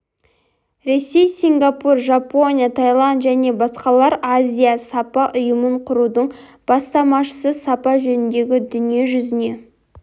ресей сингапур жапония таиланд және басқалар азия сапа ұйымын құрудың бастамашысы сапа жөніндегі дүние жүзіне